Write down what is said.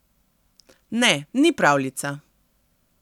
Ne, ni pravljica.